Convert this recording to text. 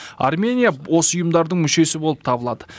армения осы ұйымдардың мүшесі болып табылады